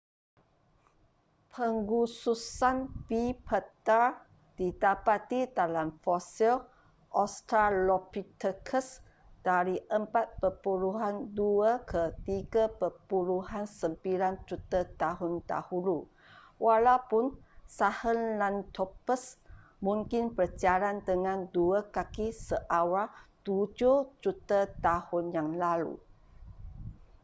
pengkhususan bipedal didapati dalam fosil australopithecus dari 4.2-3.9 juta tahun dahulu walaupun sahelanthropus mungkin berjalan dengan dua kaki seawal tujuh juta tahun yang lalu